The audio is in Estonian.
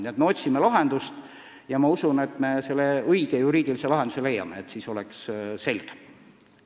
Nii et me otsime lahendust ja ma usun, et me leiame õige juriidilise lahenduse, et kõik oleks selge.